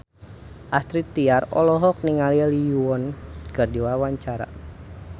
Astrid Tiar olohok ningali Lee Yo Won keur diwawancara